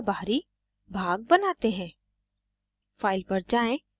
आगे ब्रोशर का बाहरी भाग बनाते हैं